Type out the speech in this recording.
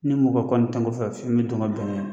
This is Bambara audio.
Ni mɔgɔ kɔni tɛ n kɔfɛ fiyewu n bi don ka bɛn n'a ye.